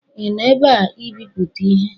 ị nọ ebe a ibipụta ihe?